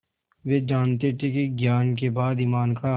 वे जानते थे कि ज्ञान के बाद ईमान का